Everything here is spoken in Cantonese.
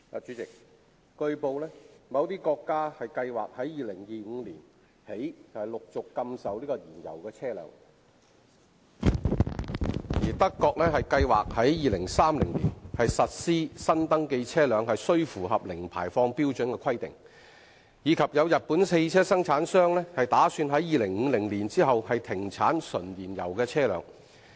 主席，據報，某些國家計劃由2025年起陸續禁售燃油車輛、德國計劃在2030年實施新登記車輛須符合零排放標準的規定，以及有日本汽車生產商打算在2050年起停產純燃油車輛。